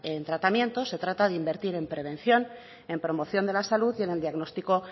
en el tratamiento se trata invertir en prevención en promoción de la salud y en el diagnóstico